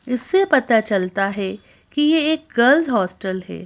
इससे पता चलता है कि यह एक गर्ल्स हॉस्टल है।